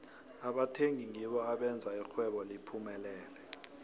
abathengi ngibo abenza ixhwebo liphumelele